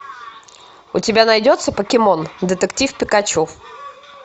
у тебя найдется покемон детектив пикачу